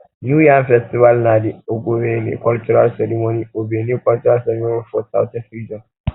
new yam festival na dey ogbenge cultral ceremony ogbenge cultral ceremony for southeast region